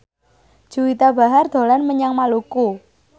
Juwita Bahar dolan menyang Maluku